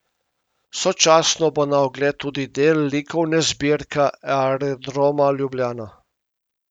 Sočasno bo na ogled tudi del likovne zbirke Aerodroma Ljubljana.